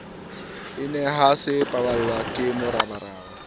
enaha se sebapallwa ke moraparapa